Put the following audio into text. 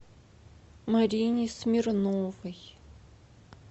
марине смирновой